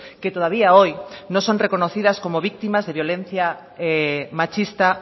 que todavía hoy no son reconocidas como víctimas de violencia machista